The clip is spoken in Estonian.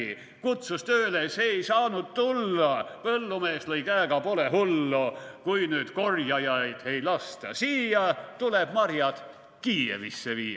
/ Kutsus tööle, see ei saanud tulla, / põllumees lõi käega, pole hullu, / kui nüüd korjajaid ei lasta siia, / tuleb marjad Kiievisse viia.